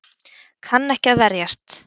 Kann ekki að verjast.